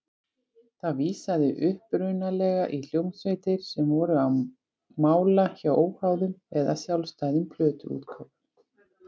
Það vísaði upprunalega í hljómsveitir sem voru á mála hjá óháðum eða sjálfstæðum plötuútgáfum.